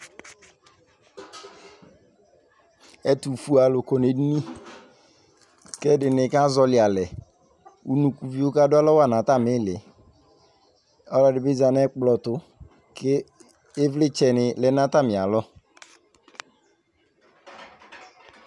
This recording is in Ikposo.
Ɛtʋfuealʋ kɔ nʋ edini kʋ ɛdɩnɩ kazɔɣɔlɩ alɛ Unukuvio kadʋ alɔ wa nʋ atamɩ ɩɩlɩ Ɔlɔdɩ dɩ bɩ za nʋ ɛkplɔ tʋ kʋ ɩvlɩtsɛnɩ lɛ nʋ atamɩalɔ